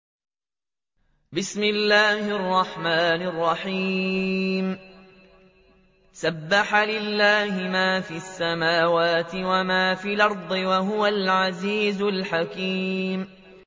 سَبَّحَ لِلَّهِ مَا فِي السَّمَاوَاتِ وَمَا فِي الْأَرْضِ ۖ وَهُوَ الْعَزِيزُ الْحَكِيمُ